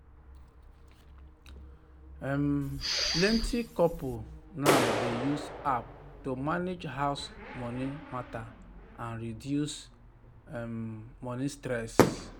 um plenty couple now dey use app to manage house money matter and reduce um money stress.